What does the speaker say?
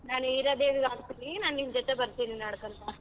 ನಾನ್ ಹೀರಾದೇವಿಗ್ ಹಾಕ್ತೀನಿ ನಾನ್ ನಿನ್ ಜೊತೆ ಬರ್ತೀನಿ ನಡ್ಕಂತಾ.